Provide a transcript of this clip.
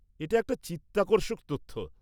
-এটা একটা চিত্তাকর্ষক তথ্য।